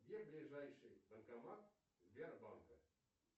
где ближайший банкомат сбербанка